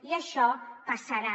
i això passa·rà